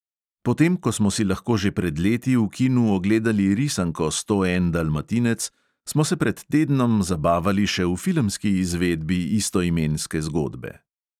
Potem ko smo si lahko že pred leti v kinu ogledali risanko sto en dalmatinec, smo se pred tednom zabavali še v filmski izvedbi istoimenske zgodbe.